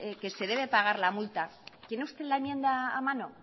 que se debe pagar la multa tiene usted la enmienda a mano